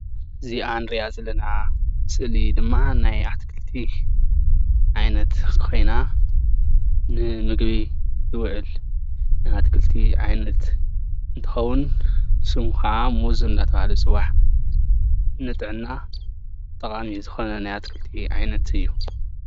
እዚ ንሪኣ ዘለና ስእሊ ድማ ናይ ኣትክልቲ ዓይነት ኮይና ንምግቢ ዝውዕል ናይ ኣትክልቲ ዓይነት እንትከውን ስሙ ከዓ ሙዝ እናዳተባሃለ ይፅዋዕ፡፡ ንጥዕና ጠቃሚ ዝኮነ ናይ ኣትክልቲ ዓይነት እዩ፡፡